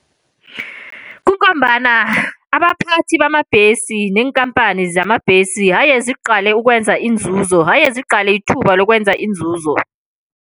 Kungombana abaphathi bamabhesi neenkhamphani zamabhesi ayeziqale ukwenzinzuzo, ayeziqale ithuba lokwenzinzuzo.